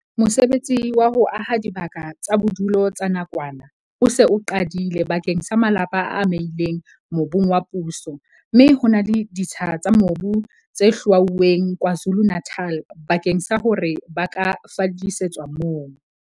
Mosebetsi wa ho aha dibaka tsa bodulo tsa nakwana o se o qadile bakeng sa malapa a amehileng mobung wa puso mme ho na le ditsha tsa mobu tse hlwauweng KwaZulu-Natal bakeng sa hore ba ka fallisetswa moo.